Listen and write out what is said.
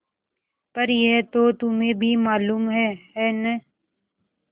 पर यह तो तुम्हें भी मालूम है है न